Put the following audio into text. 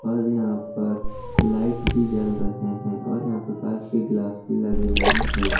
ओर यहां पर लाइट भी जल रहे हैं और यहां पर कांच के गिलास भी लगे हुए हैं।